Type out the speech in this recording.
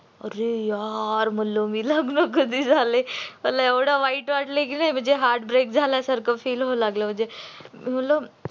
अरे यार मी म्हणल आता लग्न कधी झालंय एव्हड वाईट वाटल की नाही म्हणजे heartbreak झाल्या सारख feel व्हायला लागळ म्हणजे